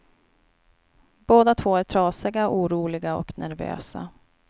Båda två är trasiga, oroliga och nervösa.